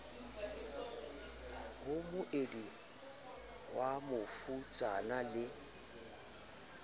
ho moedi wa bofutsana le